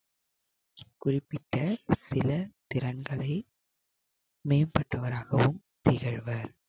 குறிப்பிட்ட சில திறன்களை மேம்பட்டவராகவும் திகழ்வர்.